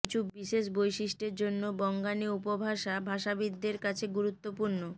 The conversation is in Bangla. কিছু বিশেষ বৈশিষ্টের জন্য বঙ্গাণী উপভাষা ভাষাবিদদের কাছে গূরুত্বপূর্ণ